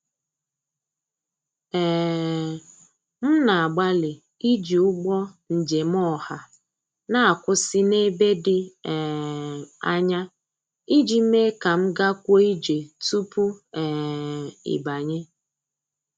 um M na-agbalị iji ụgbọ njem ọha na-akwụsị n'ebe dị um anya ij mee ka m gakwuo ije tupu um ịbanye.